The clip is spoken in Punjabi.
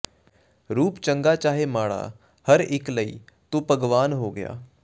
ਰੂਪ ਚੰਗਾ ਚਾਹੇ ਮਾੜਾ ਹਰ ਇੱਕ ਲਈ ਤੂੰ ਭਗਵਾਨ ਹੋ ਗਿਆ